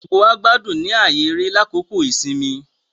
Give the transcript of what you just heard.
Gbogbo wá gbádùn ní ààyè eré lákòókò ìsinmi